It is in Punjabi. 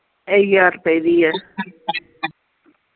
ਇਹ ਹਜ਼ਾਰ ਰੁਪਏ ਦੀ ਹੈ